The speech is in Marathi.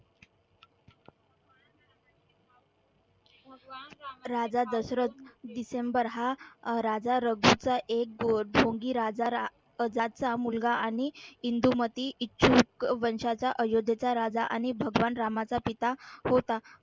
हा अह राजा रघूचा एक ढोंगी राजा अजातचा मुलगा आणि इंदुमती इच्छुक वंशाचा अयोध्येचा राजा आणि भगवान रामाचा पिता होता.